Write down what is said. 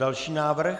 Další návrh?